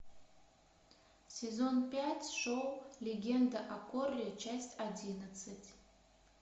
сезон пять шоу легенда о корре часть одиннадцать